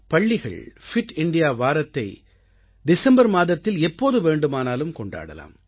பள்ளிகள் fit India வாரத்தை December மாதத்தில் எப்போது வேண்டுமானாலும் கொண்டாடலாம்